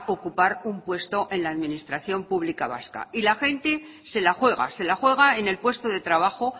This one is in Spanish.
ocupar un puesto en la administración pública vasca y la gente se la juega se la juega en el puesto de trabajo